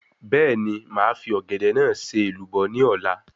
Bẹ́ẹ̀ni, màá fi Ọ̀gẹ̀dẹ̀ náà ṣe èlùbọ́ ní ọ̀la